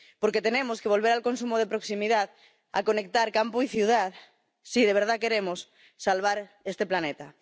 porque tenemos que volver al consumo de proximidad, a conectar campo y ciudad si de verdad queremos salvar este planeta.